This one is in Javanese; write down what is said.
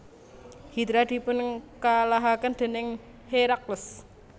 Hidra dipunkalahaken déning Herakles